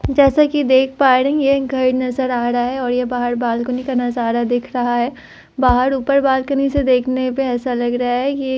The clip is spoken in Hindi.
जैसा की देख पा रही हूँ यह एक घर नजर रहा है और यह बाहर बालकनी नजारा दिख रहा है बाहर ऊपर बालकनी से देखने पे ऐसा लग रहा है ये --